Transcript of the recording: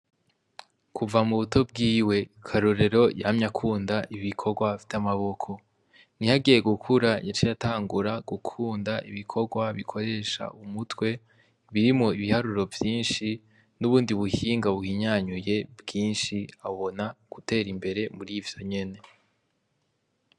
Kuva mubuto bwiwe ,Karorero yamye akunda ibikorwa vy'amaboko, nihagiye gukura yaciye atangura gukunda ibikorwa bikoresha umutwe, birimwo ibiharuro vyinshi, n'ubundi buhinga buhinyanyuye bwinshi, abona guterimbere murivyonyene.